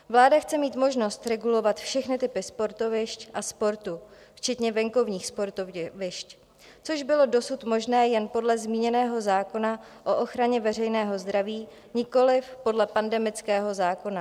Vláda chce mít možnost regulovat všechny typy sportovišť a sportu včetně venkovních sportovišť, což bylo dosud možné jen podle zmíněného zákona o ochraně veřejného zdraví, nikoliv podle pandemického zákona.